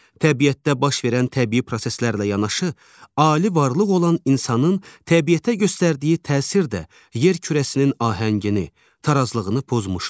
Təbiətdə baş verən təbii proseslərlə yanaşı, ali varlıq olan insanın təbiətə göstərdiyi təsir də yer kürəsinin ahəngini, tarazlığını pozmuşdur.